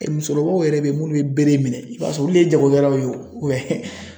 Musokɔrɔbaw yɛrɛ bɛ ye minnu bɛ bere minɛ i b'a sɔrɔ olu ye jagokɛlaw ye